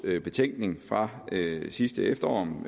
betænkning fra sidste efterår om